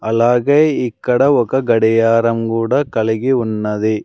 అలాగే ఇక్కడ ఒక గడియారం గూడా కలిగి ఉన్నది.